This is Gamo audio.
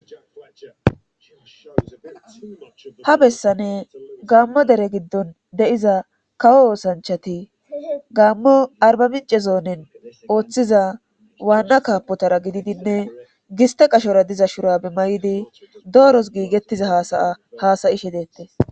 ha bessane gaammo dere giddon de'iza kawo oosanchati gaammo arba mince zoonen ooththiza waanna kaapotara gididinne giste qashora diza shurabi maydi dooros giigettiza hasaya haasayishe deettes